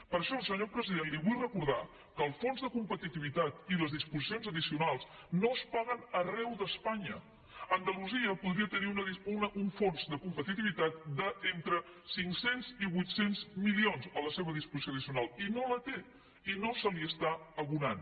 per això senyor president li vull recordar que el fons de competitivitat i les disposicions addicionals no es paguen arreu d’espanya andalusia podria tenir un fons de competitivitat d’entre cinc cents i vuit cents milions a la seva disposició addicional i no el té i no se li està abonant